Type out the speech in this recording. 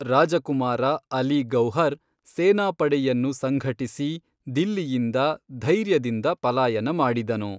ರಾಜಕುಮಾರ ಅಲಿ ಗೌಹರ್ ಸೇನಾಪಡೆಯನ್ನು ಸಂಘಟಿಸಿ ದಿಲ್ಲಿಯಿಂದ ಧೈರ್ಯದಿಂದ ಪಲಾಯನ ಮಾಡಿದನು.